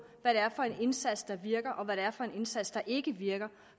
hvad det er for en indsats der virker og hvad det er for en indsats der ikke virker